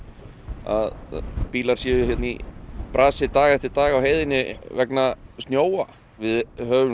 að bílar séu í brasi dag eftir dag á heiðinni vegna snjóa við höfum